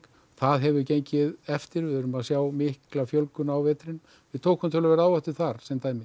það hefur gengið eftir við erum að sjá mikla fjölgun á vetrinum við tókum töluverða áhættu þar